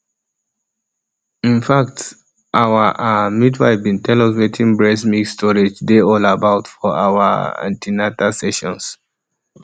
in fact our ah midwife been tell us wetin breast milk storage dey all about for our um an ten atal sessions